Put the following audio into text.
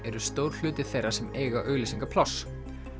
eru stór hluti þeirra sem eiga auglýsingapláss